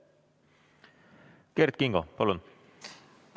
Kert Kingo, palun!